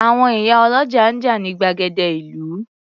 Àwọn ìyá ọlọ́jà ń jà ní gbàgede ìlú.